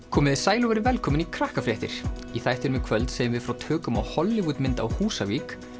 komiði sæl og verið velkomin í Krakkafréttir í þættinum í kvöld segjum við frá tökum á Hollywood mynd á Húsavík